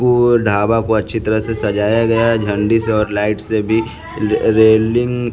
वो ढाबा को अच्छी तरह से सजाया गया है झंडी से और लाइट से भी रेलिंग --